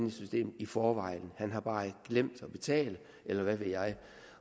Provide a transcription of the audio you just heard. i systemet i forvejen han har bare glemt at betale eller hvad ved jeg